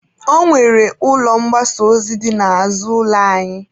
Ọ nwere ụlọ mgbasa ozi dị n'azụ ụlọ anyị.